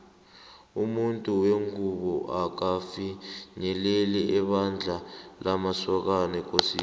umuntu wengubo akafinyeleli ebandla lamasokana ekosini